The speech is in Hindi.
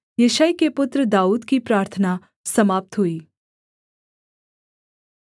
यिशै के पुत्र दाऊद की प्रार्थना समाप्त हुई